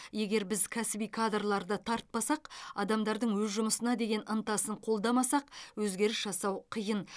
егер біз кәсіби кадрларды тартпасақ адамдардың өз жұмысына деген ынтасын қолдамасақ өзгеріс жасау қиын